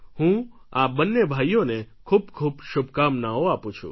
હું આ બંને ભાઈઓને ખૂબ ખૂબ શુભકામનાઓ આપું છું